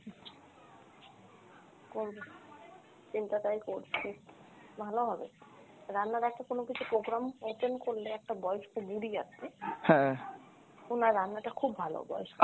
করবো, চিন্তা তাই করছি ভালো হবে, রান্নার একটা কোনো কিছু program attend করলে একটা বয়স্ক বুড়ি আছে, উনার রান্নাটা খুব ভালো। বয়স্ক